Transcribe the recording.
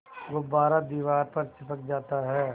गुब्बारा दीवार पर चिपक जाता है